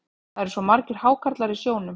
Það eru svo margir hákarlar í sjónum.